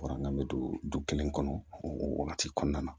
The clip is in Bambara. Wa n bɛ don du kelen kɔnɔ o wagati kɔnɔna na